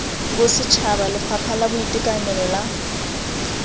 bosetšhaba lefapha la boitekanelo la